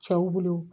Cɛw bolo